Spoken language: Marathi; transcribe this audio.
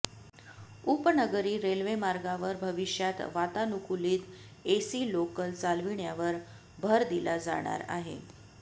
उपनगरी रेल्वेमार्गावर भविष्यात वातानुकूलित एसी लोकल चालविण्यावर भर दिला जाणार आहे